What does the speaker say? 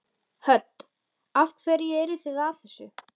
Hödd: Af hverju eruð þið að þessu?